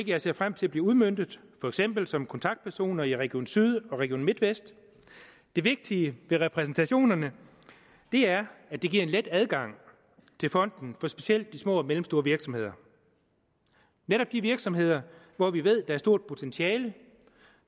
jeg ser frem til bliver udmøntet for eksempel som kontaktpersoner i region syddanmark og region midtjylland det vigtige ved repræsentationerne er at det giver en let adgang til fonden for specielt de små og mellemstore virksomheder netop de virksomheder hvor vi ved at der er stort potentiale